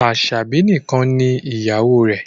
Aṣabi nìkàn ní ìyàwó rẹ